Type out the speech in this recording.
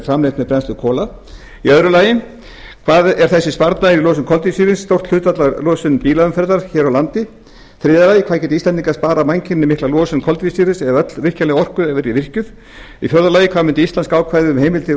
framleitt með brennslu kola annars hvað er þessi sparnaður í losun koltvísýrings stórt hlutfall af losun bílaumferðar hér á landi þriðja hvað gætu íslendingar sparað mannkyninu mikla losun koltvísýrings ef öll virkjanleg orka yrði virkjuð fjórði mun íslenska ákvæðið um heimild til